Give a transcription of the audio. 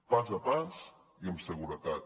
pas a pas i amb seguretat